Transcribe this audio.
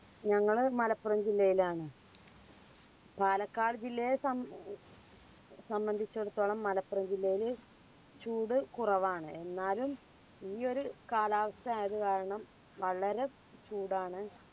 ഞങ്ങൾ മലപ്പുറം ജില്ലയിലാണ്. പാലക്കാട് ജില്ലയെ സംബ ഉം സംബന്ധിച്ചിടത്തോളം മലപ്പുറം ജില്ലയിൽ ചൂട് കുറവാണ്. എന്നാലും ഈ ഒരു കാലാവസ്ഥ ആയതു കാരണം വളരെ ചൂടാണ്